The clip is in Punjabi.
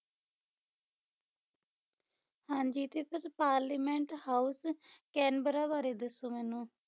ਹਾਂਜੀ ਤੇ ਫਿਰ parliament house ਕੈਨਬਰਾ ਬਾਰੇ ਦੱਸੋ ਮੈਨੂੰ